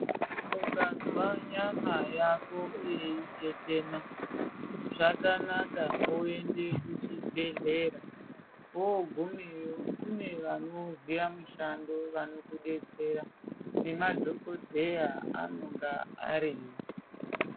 Ukanzwa nyama yako yeitetena zvakanaka uende kuchibhedhlera wogumeyo kune vanoziva mushando vanokubetsera nemadhokodheya anonga variyo .